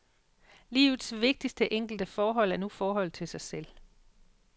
Livets vigtigste enkelte forhold er nu forholdet til sig selv.